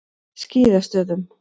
Skíðastöðum